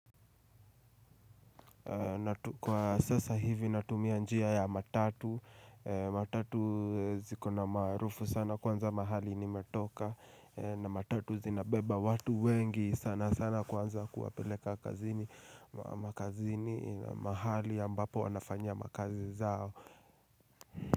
Kwa sasa hivi natumia njia ya matatu matatu zikona maarufu sana kwanza mahali nimetoka na matatu zinabeba watu wengi sana sana kwanza kuwapeleka kazini Makazini mahali ambapo wanafanya makazi zao.